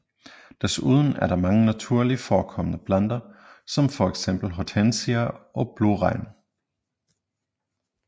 Desuden er der mange naturligt forekommende planter som fx hortensia og blåregn